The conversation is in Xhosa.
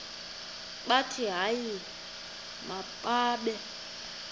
bathi hayi mababe